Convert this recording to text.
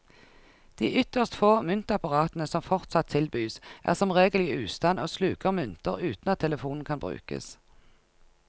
De ytterst få myntapparatene som fortsatt tilbys, er som regel i ustand og sluker mynter uten at telefonen kan brukes.